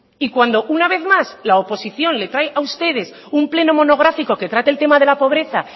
y cuando una vez más la oposición le trae a ustedes un pleno monográfico que trate el tema de la pobreza